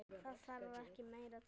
Það þarf ekki meira til.